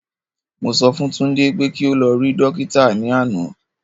Mo sọ fún Tunde pé kí o lọ rí Dókítà ní àná